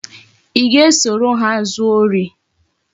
I ga-esoro ha zuo ori?